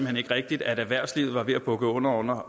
hen ikke rigtigt at erhvervslivet var ved at bukke under under